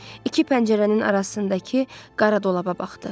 İki pəncərənin arasındakı qara dolaba baxdı.